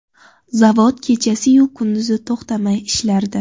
Zavod kechasiyu kunduz to‘xtamay ishlardi.